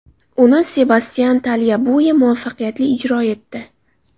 Uni Sebastyan Talyabue muvaffaqiyatli ijro etdi.